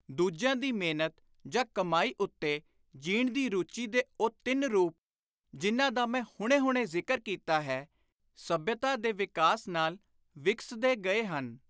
ਦੂਜਿਆਂ ਦੀ ਮਿਹਨਤ ਜਾਂ ਕਮਾਈ ਉੱਤੇ ਜੀਣ ਦੀ ਰੁਚੀ ਦੇ ਉਹ ਤਿੰਨ ਰੂਪ ਜਿਨ੍ਹਾਂ ਦਾ ਮੈਂ ਹੁਣੇ ਹੁਣੇ ਜ਼ਿਕਰ ਕੀਤਾ ਹੈ, ਸੱਭਿਅਤਾ ਦੇ ਵਿਕਾਸ ਨਾਲ ਵਿਕਸਦੇ ਗਏ ਹਨ।